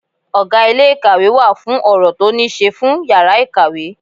Ọgá ilé ìkàwé wà fún ọ̀rọ̀ tó ní ṣe fún yàrá ìkàwé.